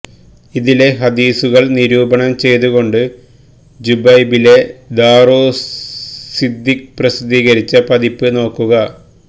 ഇതിലെ ഹദീസുകള് നിരൂപണം ചെയ്തുകൊണ്ട് ജുബൈലിലെ ദാറുസ്സിദ്ദീഖ് പ്രസിദ്ധീകരിച്ച പതിപ്പ് നോക്കുക